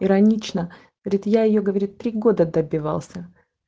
гранична года добивался